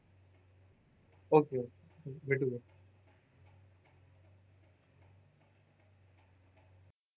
Okay भेट उद्या.